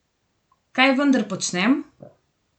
Kaj vendar počnem?